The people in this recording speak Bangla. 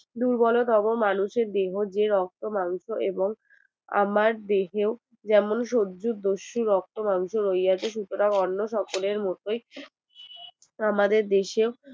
দুর্বলতম মানুষের যে রক্ত মাংস এবং আমার দেহেই শুধু রক্ত মাংস রয়েছে সুতরাং অন্য সকলের মতোই আমাদের দেশেই আহ